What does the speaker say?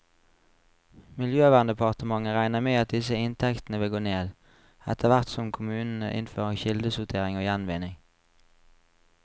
Miljøverndepartementet regner med at disse inntektene vil gå ned, etterhvert som kommunene innfører kildesortering og gjenvinning.